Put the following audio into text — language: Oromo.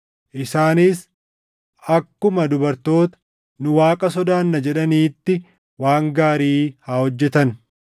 isaanis akkuma dubartoota, “Nu Waaqa sodaanna” jedhaniitti waan gaarii haa hojjetan.